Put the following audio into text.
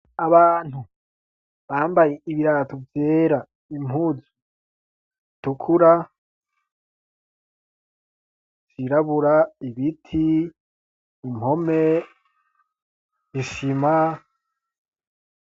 Abantu bambaye ibirato vyera, impuzu zitukura, vyirabura, ibiti, impome isima.